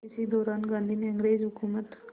इसी दौरान गांधी ने अंग्रेज़ हुकूमत